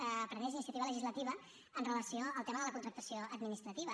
que prengués la iniciativa legislativa amb relació al tema de la contractació administrativa